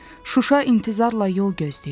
Şuşa intizarla yol gözləyirdi.